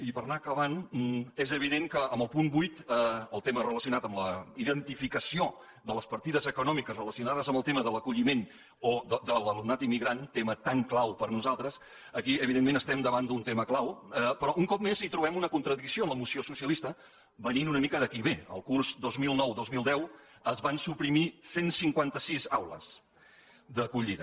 i per anar acabant és evident que en el punt vuit el tema relacionat amb la identificació de les partides econòmiques relacionades amb el tema de l’acolliment o de l’alumnat immigrant tema tan clau per a nosaltres aquí evidentment estem davant d’un tema clau però un cop més hi trobem una contradicció en la moció socialista venint una mica de qui ve en el curs dos mil nou dos mil deu es van suprimir cent i cinquanta sis aules d’acollida